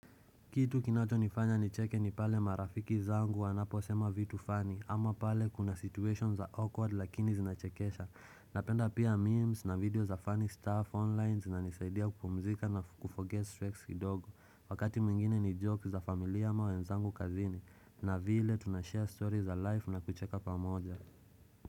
Kitu kinacho nifanya nicheke ni pale marafiki zangu wanapo sema vitu funny ama pale kuna situation za awkward lakini zinachekesha Napenda pia memes na video za funny stuff online zinanisaidia kupumzika na kuforgette stress kidogo Wakati mwingine ni jokes za familia ama wenzangu kazini na vile tunashare story za life na kucheka pamoja.